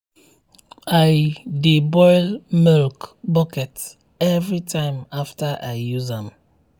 i dey boil milk bucket every time after i use am.